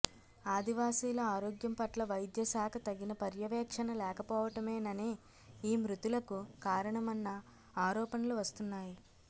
ఆదివాసీల ఆరోగ్యం పట్ల వైద్య శాఖ తగిన పర్యవేక్షణ లేకపోవటమేననే ఈ మృతులకు కారణమన్న ఆరోపణలు వస్తున్నాయి